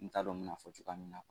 N t'a dɔn n bɛna fɔ cogoya min na